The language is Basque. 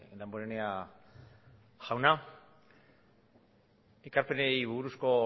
damborenea jauna ekarpenei buruzko